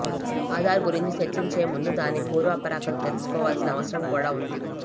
ఆధార్ గురించి చర్చించే ముందు దాని పూర్వాపరాలు తెలుసుకోవాల్సిన అవసరం కూడ ఉంది